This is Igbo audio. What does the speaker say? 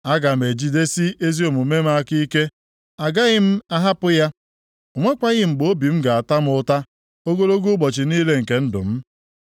Aga m ejigidesi ezi omume m aka ike, agaghị m ahapụ ya; o nwekwaghị mgbe obi m ga-ata m ụta ogologo ụbọchị niile nke ndụ m.